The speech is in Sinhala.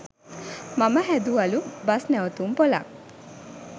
මම හැදුවලු බස්නැවතුම්පොළක්